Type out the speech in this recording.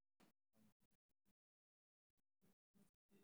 Waa maxay daawaynta loo heli karo ciladaTayiska ?